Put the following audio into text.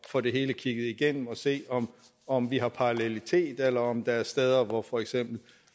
få det hele kigget igennem og se om vi har parallelitet eller om der er steder hvor for eksempel